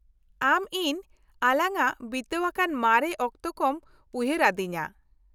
ᱟᱢ ᱤᱧ ᱟᱞᱟᱝᱟᱜ ᱵᱤᱛᱟ.ᱣ ᱟᱠᱟᱱ ᱢᱟᱨᱮ ᱚᱠᱛᱚ ᱠᱚᱢ ᱩᱭᱦᱟᱨ. ᱟ.ᱫᱤᱧᱟ ᱾